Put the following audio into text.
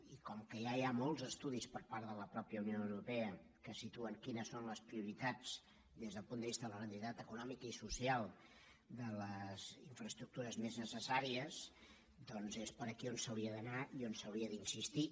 i com que ja hi ha molts estudis per part de la mateixa unió europea que situen quines són les prioritats des del punt de vista de la rendibilitat econòmica i social de les infraestructures més necessàries doncs és per aquí per on s’hauria d’anar i on s’hauria d’insistir